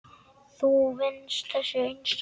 Þú venst þessu einsog ég.